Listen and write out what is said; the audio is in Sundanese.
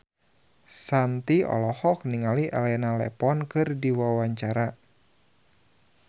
Shanti olohok ningali Elena Levon keur diwawancara